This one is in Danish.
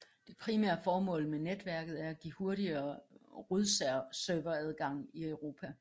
Det primære formål med netværket er at give hurtigere rodserveradgang i Europa